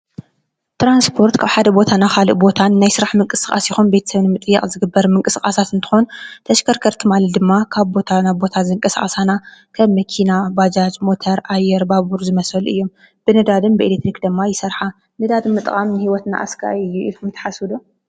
ትራንስፖርት ካብ ሓደ ቦታ ናብ ካሊእ ሓደ ቦታ ናይ ስራሕ ምንቅስቃስ ይኹን ቤተሰብ ንምጥያቅ ዝግበር ምንቅስቃሳት እንትኾን ተሽከርከርቲ ማለት ድማ ካብ ቦታ ናብ ቦታ ዘንቀሳቅሳና ከም መኪና፣ ባጃጅ፣ ሞተር ፣ አየር ፣ ባቡር ዝመሰሉ እዮም ።ብነዳድን ብኤሌክትሪክ ድማ ይሰርሓ። ነዳዲ ንምጥቃም ንሂወትና አስጋኢ እዩ ኢልኩም ትሓስቡ ዶ ?